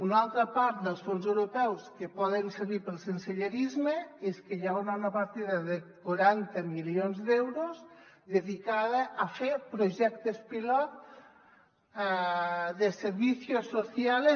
una altra part dels fons europeus que poden servir per al sensellarisme és que hi haurà una partida de quaranta milions d’euros dedicada a fer projectes pilot de servicios sociales